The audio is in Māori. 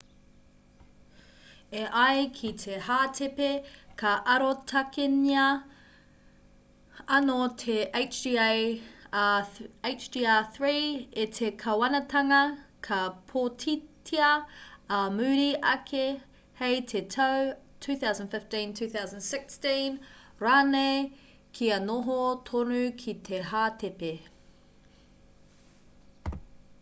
e ai ki te hātepe ka arotakengia anō te hjr-3 e te kāwanatanga ka pōtitia ā muri ake hei te tau 2015 2016 rānei kia noho tonu ki te hātepe